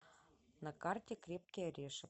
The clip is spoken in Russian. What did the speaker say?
на карте крепкий орешек